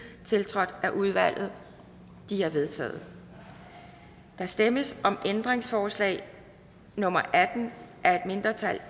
tiltrådt af udvalget de er vedtaget der stemmes om ændringsforslag nummer atten af et mindretal